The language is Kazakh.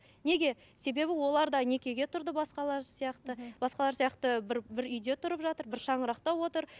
неге себебі олар да некеге тұрды басқалар сияқты басқалар сияқты бір бір үйде тұрып жатыр бір шаңырақта отыр